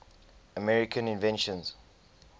american inventions